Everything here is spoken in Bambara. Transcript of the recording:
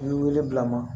I ye wele bila ma